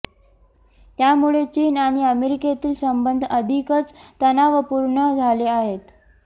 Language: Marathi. त्यामुळे चीन आणि अमेरिकेतील संबंध अधिकच तणावपूर्ण झाले आहेत